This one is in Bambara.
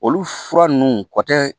Olu fura ninnu kɔ tɛ